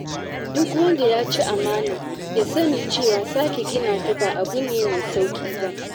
Duk wanda yaci amana, ya sani cewa sake gina ta ba abu ne mai sauƙi ba.